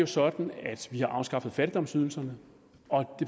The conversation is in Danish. sådan at vi har afskaffet fattigdomsydelserne og